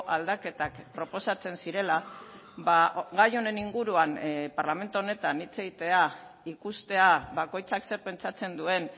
aldaketak proposatzen zirela gai honen inguruan parlamentu honetan hitz egitea ikustea bakoitzak zer pentsatzen duen